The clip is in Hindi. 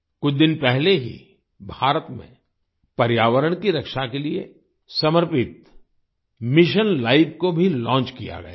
कुछ दिन पहले ही भारत में पर्यावरण की रक्षा के लिए समर्पित मिशन लाइफ को भी लॉन्च किया गया है